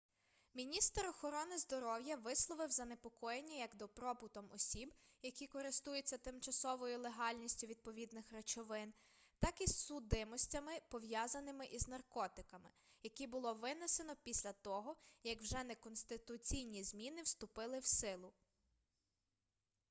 міністр охорони здоров'я висловив занепокоєння як добробутом осіб які користуються тимчасовою легальністю відповідних речовин так і судимостями пов'язаними із наркотиками які було винесено після того як вже неконституційні зміни вступили в силу